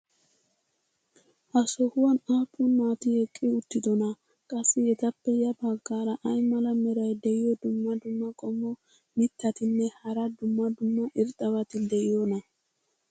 ha sohuwan aappun naati eqqi uttidonaa? qassi etappe ya bagaara ay mala meray diyo dumma dumma qommo mitattinne hara dumma dumma irxxabati de'iyoonaa?